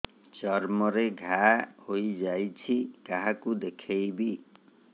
ଚର୍ମ ରେ ଘା ହୋଇଯାଇଛି କାହାକୁ ଦେଖେଇବି